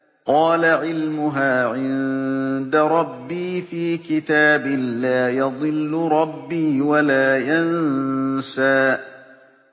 قَالَ عِلْمُهَا عِندَ رَبِّي فِي كِتَابٍ ۖ لَّا يَضِلُّ رَبِّي وَلَا يَنسَى